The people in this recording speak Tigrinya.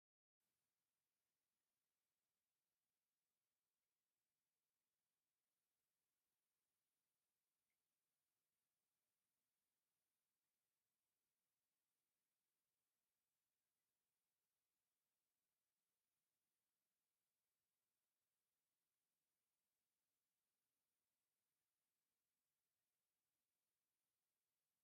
ሰባት ኣብ ዘመናዊት ከተማ ኣብ ዝርከብ ቤት ምግቢ ኣብ ዙርያ ጠረጴዛ ኮፍ ኢሎም ይዕልሉ ኣለዉ። ጻዕዳ ክዳን ዝለበሰት ወይተር ደው ኢላ፡ትሰምዕ ወይ ትቕበል ትመስል። ብድሕሪት ድማ መልክዕ ከተማን ጽርግያታትን ህንጻታትን ይርአ። እዚ ሰላምን ምዝንጋዕን ዝመልአት መዓልቲ ዕረፍቲ እዩ።